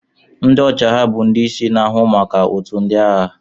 Ndị ọchịagha bụ ndị isi na-ahụ maka otu ndị agha.